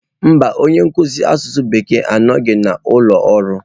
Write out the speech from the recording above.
Mba, onye nkuzi asụsụ Bekee anọghị n'ụlọ ọrụ